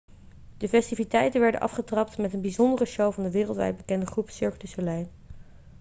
de festiviteiten werden afgetrapt met een bijzondere show van de wereldwijd bekende groep cirque du soleil